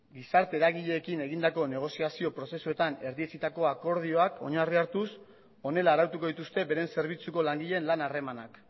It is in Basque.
gizarte eragileekin egindako negoziazio prozesuetan erdietsitako akordioak oinarria hartuz honela arautuko dituzte beren zerbitzuko langileen lan harremanak